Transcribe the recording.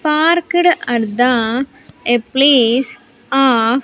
Parked at the a place of --